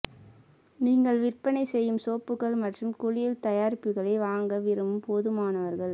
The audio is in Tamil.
நீங்கள் விற்பனை செய்யும் சோப்புகள் மற்றும் குளியல் தயாரிப்புகளை வாங்க விரும்பும் போதுமானவர்கள்